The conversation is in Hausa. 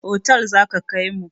Otal za ka kaimu.